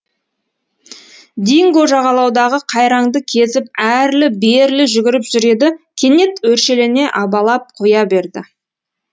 динго жағалаудағы қайраңды кезіп әрлі берлі жүгіріп жүр еді кенет өршелене абалап қоя берді